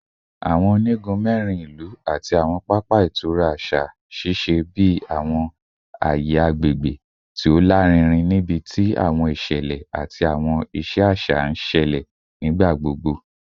Awọn onigun mẹrin ilu ati awọn papa itura aṣa ṣiṣẹ bi awọn aye agbegbe ti o larinrin nibiti awọn iṣẹlẹ ati awọn iṣẹ aṣa n ṣẹlẹ nigbagbogbo